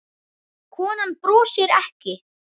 Konan brosir ekki.